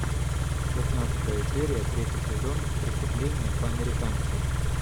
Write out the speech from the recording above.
шестнадцатая серия третий сезон преступление по американски